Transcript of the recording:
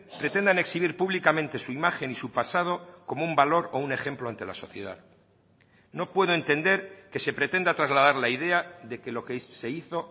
pretendan exhibir públicamente su imagen y su pasado como un valor o un ejemplo ante la sociedad no puedo entender que se pretenda trasladar la idea de que lo que se hizo